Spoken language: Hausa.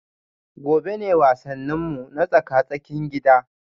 Gobe ​​ne wasanninmu na tsaka-tsakin gida